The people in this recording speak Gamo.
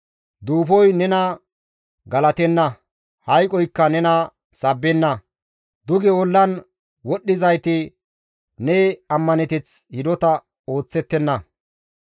Duufoy nena galatenna; hayqoykka nena sabbenna. Duge ollan wodhdhizayti ne ammaneteth hidota oosettenna.